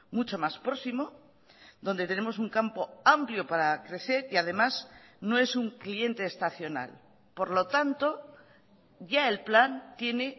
mucho más próximo donde tenemos un campo amplio para crecer y además no es un cliente estacional por lo tanto ya el plan tiene